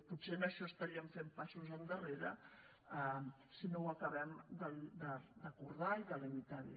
potser en això estaríem fent passos endarrere si no ho acabem d’acordar i de limitar bé